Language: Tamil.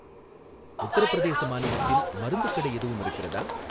உத்தரப்பிரதேச மாநிலத்தில் மருந்துக் கடை எதுவும் இருக்கிறதா?